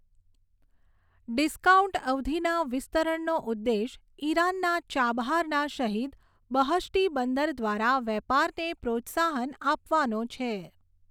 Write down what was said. Discount અવધિના વિસ્તરણનો ઉદ્દેશ ઈરાનના ચાબહારના શહિદ બહષ્ટી બંદર દ્વારા વેપારને પ્રોત્સાહન આપવાનો છે.